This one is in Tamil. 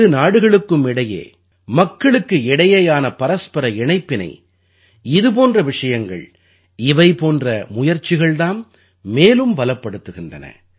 இரு நாடுகளுக்கும் இடையே மக்களுக்கு இடையேயான பரஸ்பர இணைப்பினை இது போன்ற விஷயங்கள் இவை போன்ற முயற்சிகள் தாம் மேலும் பலப்படுத்துகின்றன